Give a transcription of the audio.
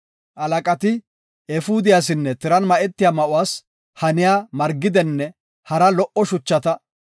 Halaqati efuudiyasinne tiran ma7etiya ma7uwas haniya margidenne hara lo77o shuchata,